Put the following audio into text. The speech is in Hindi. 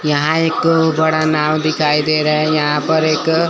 यहां एक बड़ा नाव दिखाई दे रहा है यहां पर एक--